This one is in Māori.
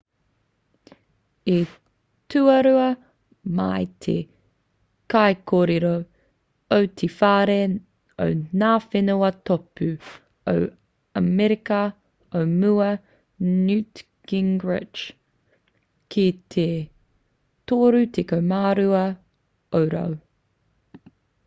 i tuarua mai te kaikōrero o te whare o ngā whenua tōpū o amerika o mua a newt gingrich ki te 32 ōrau